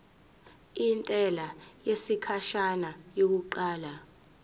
intela yesikhashana yokuqala